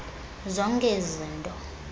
zonke ezi zinto